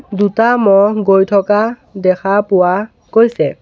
দুটা ম'হ গৈ থকা দেখা পোৱা গৈছে।